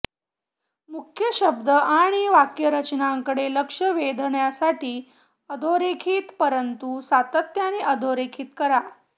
मुख्य शब्द आणि वाक्यरचनांकडे लक्ष वेधण्यासाठी अधोरेखित परंतु सातत्याने अधोरेखित करा